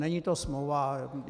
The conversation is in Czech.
Není to smlouva.